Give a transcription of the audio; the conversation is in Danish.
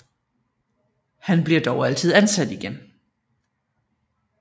Han bliver dog altid ansat igen